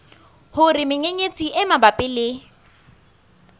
hore menyenyetsi e mabapi le